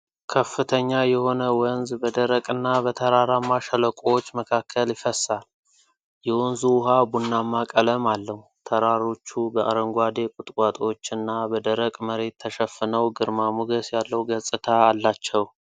ከፍተኛ የሆነ ወንዝ በደረቅና በተራራማ ሸለቆዎች መካከል ይፈሳል። የወንዙ ውሃ ቡናማ ቀለም አለው፤ ተራሮቹ በአረንጓዴ ቁጥቋጦዎችና በደረቅ መሬት ተሸፍነው ግርማ ሞገስ ያለው ገጽታ አላቸው።